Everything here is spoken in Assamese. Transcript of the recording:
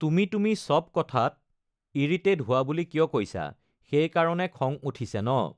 তুমি তুমি চব কথাত ইৰিটেট হোৱা বুলি কিয় কৈছা সেইকাৰণে খং উঠিছে ন